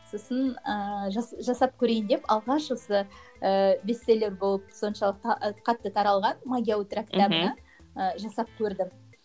сосын ыыы жасап көрейін деп алғаш осы ыыы бестселлер болып соншалықты а қатты таралған магия утра кітабына ы жасап көрдім